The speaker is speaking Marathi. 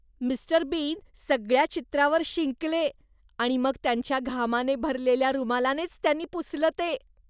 मि. बीन सगळ्या चित्रावर शिंकले आणि मग त्यांच्या घामाने भरलेल्या रुमालानेच त्यांनी पुसलं ते.